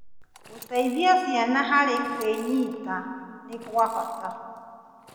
Gũciteithia ciana harĩ kwĩnyita nĩ gwa bata.